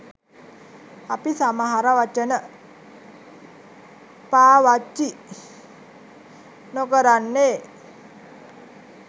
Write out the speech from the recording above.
අපි සමහර වචන පාවච්චි නොකරන්නේ.